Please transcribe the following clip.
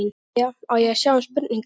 Jæja, á ég að sjá um spurningarnar?